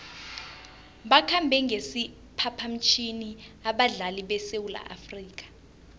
bakhambe ngesiphaphamtjhini abadlali besewula afrika